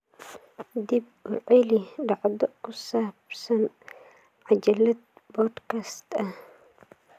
dib u celi dhacdo ku saabsan cajalad podcast ah